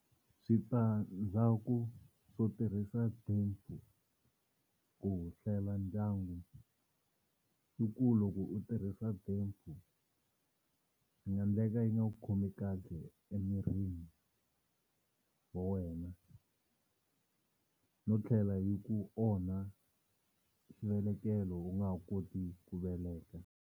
Switandzhaku swo tirhisa DEPO ku hlela ndyangu i ku loko u tirhisa DEPO swi nga ndleka yi nga ku khomi kahle emirini wa wena no tlhela yi ku onha xivelekelo u nga ha koti ku veleka.